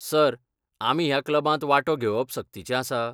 Sir, आमी ह्या क्लबांत वांटो घेवप सक्तीचें आसा?